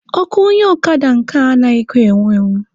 Ọkụ onye ọkada nke a anaghịkwa enwu enwu.